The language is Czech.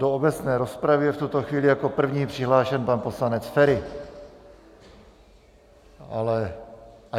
do obecné rozpravy je v tuto chvíli jako první přihlášen pan poslanec Feri, ale...